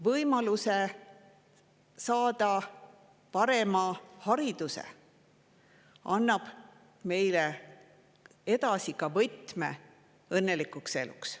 Võimalus saada parem haridus annab meile võtme õnnelikuks eluks.